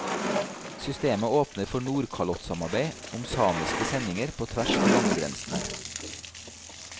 Systemet åpner for nordkalottsamarbeid om samiske sendinger på tvers av landegrensene.